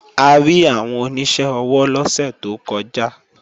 A rí àwọn oníṣẹ́ ọwọ́ lọ́sẹ̀ tó kọjá